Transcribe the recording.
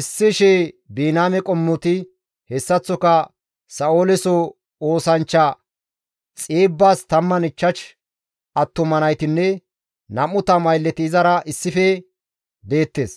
Issi shii Biniyaame qommoti, hessaththoka Sa7ooleso oosanchcha Xiibbas 15 attuma naytinne 20 aylleti izara issife deettes.